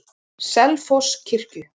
Selfosskirkju